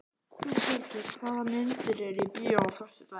Þjóðhildur, hvaða myndir eru í bíó á föstudaginn?